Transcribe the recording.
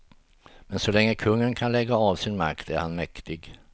Men så länge kungen kan lägga av sin makt är han mäktig.